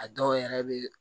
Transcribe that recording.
A dɔw yɛrɛ bɛ